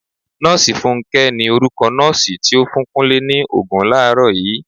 Nọọsi fúnké ni orúkọ nọọsi ti o fún Kúnlé ni Ògùn làárọ̀ yii.